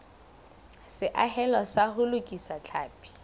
seahelo sa ho lokisa tlhapi